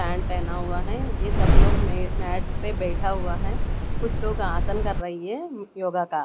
Pant पहना हुआ है ये सब लोग मैट पे बैठा हुआ हैं कुछ लोग आसन कर रही है योग का।